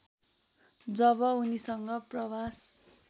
जब उनीसँग प्रवास